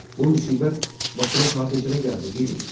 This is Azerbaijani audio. Bu müsibət başına saat neçədə gəldi, Dili?